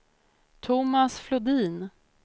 Thomas Flodin